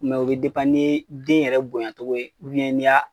Mɛ o bɛ ni den yɛrɛ bonyacogo ye n'i y'a